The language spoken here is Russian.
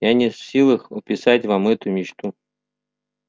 я не в силах описать вам эту мечту